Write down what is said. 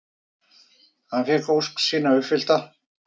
Hann fékk ósk sína uppfyllta.